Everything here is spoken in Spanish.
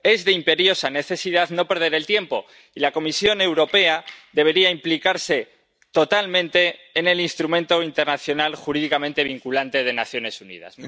Es de imperiosa necesidad no perder el tiempo y la Comisión Europea debería implicarse totalmente en el instrumento internacional jurídicamente vinculante de las Naciones Unidas.